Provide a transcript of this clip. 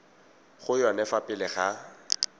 go yone fa pele ga